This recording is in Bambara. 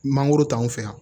Mangoro t'anw fɛ yan